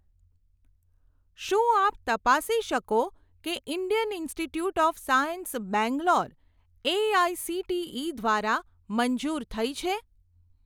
શું આપ તપાસી શકો કે Indian Institute of Science Bangalore AICTE દ્વારા મંજૂર થઇ છે?